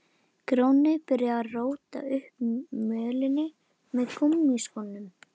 Grjóni byrjaði að róta upp mölinni með gúmmískónum.